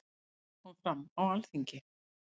Þetta kom fram á Alþingi.